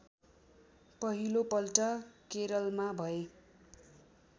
पहिलो पल्ट केरलमा भए